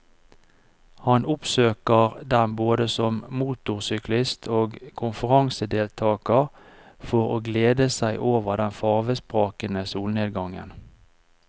Han oppsøker den både som motorsyklist og konferansedeltager for å glede seg over den farvesprakende solnedgangen.